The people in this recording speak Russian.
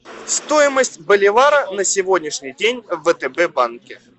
стоимость боливара на сегодняшний день в втб банке